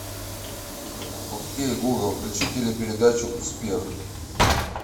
окей гугл включи телепередачу успех